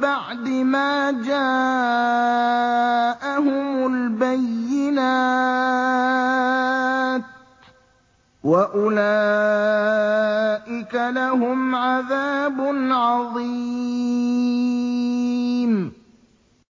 بَعْدِ مَا جَاءَهُمُ الْبَيِّنَاتُ ۚ وَأُولَٰئِكَ لَهُمْ عَذَابٌ عَظِيمٌ